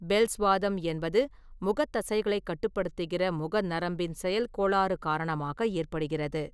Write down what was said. Bells வாதம் என்பது, முகத் தசைகளைக் கட்டுப்படுத்துகிறமுக நரம்பின் செயல்கோளாறு காரணமாக ஏற்படுகிறது.